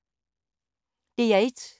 DR1